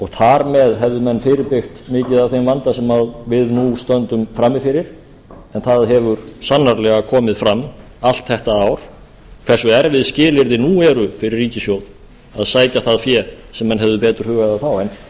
þar með hefðu menn fyrirbyggt mikið af þeim vanda sem við nú stöndum frammi fyrir en það hefur sannarlega komið fram allt þetta ár hversu erfið skilyrði nú eru fyrir ríkissjóð að sækja það fé sem menn hefðu betur hugað að þá en